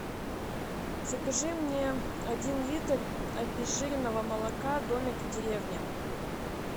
закажи мне один литр обезжиренного молока домик в деревне